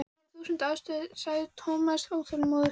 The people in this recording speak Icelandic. Það eru þúsund ástæður sagði Thomas óþolinmóður.